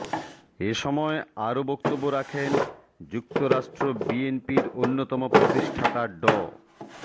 এ সময় আরো বক্তব্য রাখেন যুক্তরাষ্ট্র বিএনপির অন্যতম প্রতিষ্ঠাতা ড